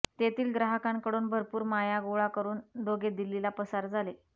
तेथील ग्राहकांकडून भरपूर माया गोळा करून दोघे दिल्लीला पसार झाले